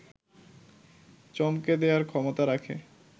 চমকে দেয়ার ক্ষমতা রাখে